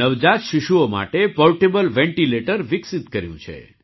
નવજાત શિશુઓ માટે પૉર્ટેબલ વેન્ટિલેટર વિકસિત કર્યું છે